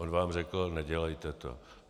On vám řekl nedělejte to.